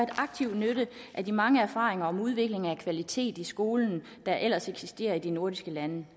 aktiv nytte af de mange erfaringer med udvikling af kvalitet i skolen der ellers eksisterer i de nordiske lande